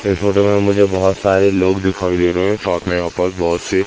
इस फोटो में मुझे बहुत सारे लोग दिखाई दे रहे हैं साथ में यहां पर बहुत से--